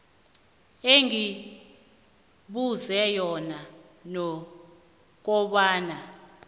engibuzwe yona nokobana